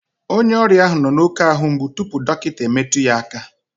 Onye ọrịa ahụ nọ n'oké ahu mgbu tupu dọkịta emetụ ya aka